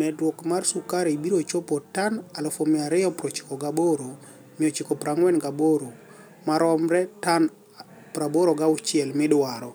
medruok mar sukari biro chopo toni 298,948 maromre toni 86 midwaro.